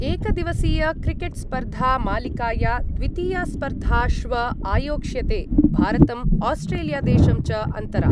एकदिवसीयक्रिकेट्स्पर्धामालिकाया द्वितीया स्पर्धा श्व आयोक्ष्यते भारतम् आस्ट्रेलियादेशं च अन्तरा।